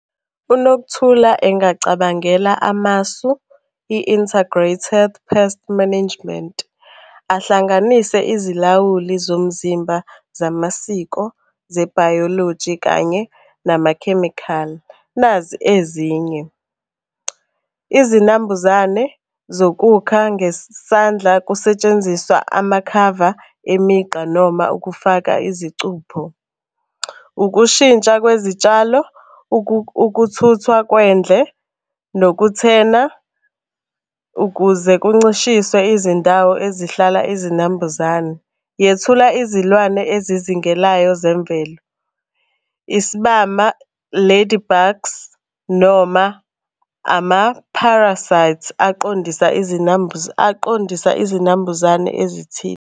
UNokuthula engacabangela amasu, i-integrated pest management. Ahlanganise izilawuli zomzimba zamasiko zebhayoloji kanye namakhemikhali, nazi ezinye. Izinambuzane zokukha ngesandla kusetshenziswa amakhava emigqa noma ukufaka izicupho. Ukushintsha kwezitshalo, ukuthuthwa kwendle, nokuthena ukuze kuncishiswe izindawo ezihlala izinambuzane. Yethula izilwane ezizingelayo zemvelo, isibama, ladybugs noma ama-parasites aqondisa aqondisa izinambuzane ezithile.